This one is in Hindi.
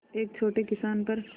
एक छोटे किसान पर